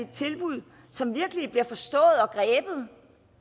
tilbud som virkelig bliver forstået og